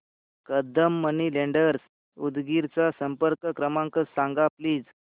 Kadam money lenders Udgir चा संपर्क क्रमांक सांग प्लीज